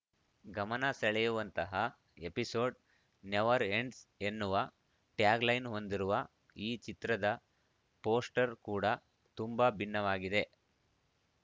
ಗಮನ ಸೆಳೆಯುವಂತಹ episode never ends ಎನ್ನುವ ಟ್ಯಾಗ್‌ಲೈನ್‌ ಹೊಂದಿರುವ ಈ ಚಿತ್ರದ ಪೋಸ್ಟರ್‌ ಕೂಡ ತುಂಬಾ ಭಿನ್ನವಾಗಿದೆ